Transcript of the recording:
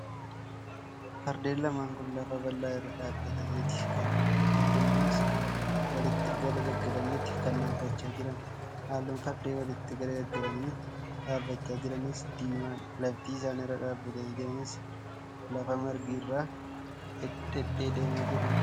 Fardeen lamaan kun lafa bal'aa irra dhaabbataniiti kan jiran. Fardeen kunis walitti garagalaniiti kan dhaabbachaa jiran. Halluun fardeen walitti garagalanii dhaabbachaa jiraniis diimaadha. Lafti isaan irra dhaabbatanii jiranis lafa margi irraa dheedamee jirudha.